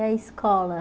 E a escola?